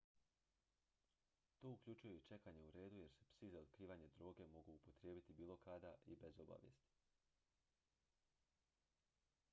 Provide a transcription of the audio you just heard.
to uključuje i čekanje u redu jer se psi za otkrivanje droge mogu upotrijebiti bilo kada i bez obavijesti